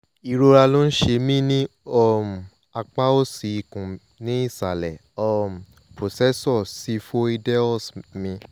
ìrora ló ń ṣe mí ní um apá òsì ikùn ní ìsàlẹ̀ um processus xiphoideus mi